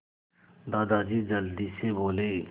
दादाजी जल्दी से बोले